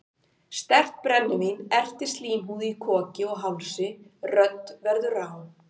Sterkt brennivín ertir slímhúð í koki og hálsi, rödd verður rám.